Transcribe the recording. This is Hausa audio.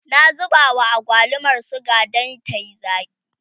na zuba wa agwalumar suga Dan tayi zaki